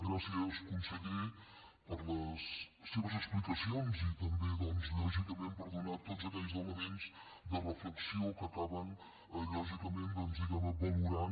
gràcies conseller per les seves explicacions i també doncs lògicament per donar tots aquells elements de reflexió que acaben diguem ne valorant